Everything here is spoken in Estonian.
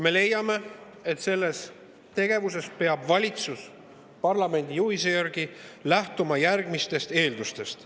Me leiame, et selles tegevuses peab valitsus parlamendi juhise järgi lähtuma järgmistest eeldustest.